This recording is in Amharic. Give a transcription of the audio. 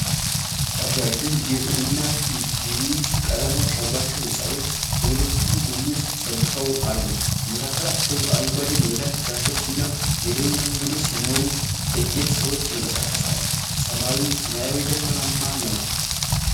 ረዣዥም የጡብ እና ቢዩጅ ቀለሞች ያሏቸው ሕንፃዎች በሁለቱም ጎኖች ተሰልፈው አሉ። በመካከላቸው አረንጓዴ ሜዳ፣ ዛፎች እና የእግረኛ መንገዶች ሲኖሩ፣ ጥቂት ሰዎች ይንቀሳቀሳሉ። ሰማዩ ሰማያዊና ደመናማ ነው።